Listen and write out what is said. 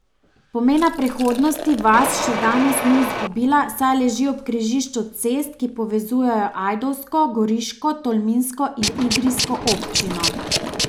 Pomena prehodnosti vas še danes ni izgubila, saj leži ob križišču cest, ki povezujejo ajdovsko, goriško, tolminsko in idrijsko občino.